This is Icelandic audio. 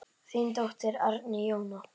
Þín dóttir, Árný Jóna.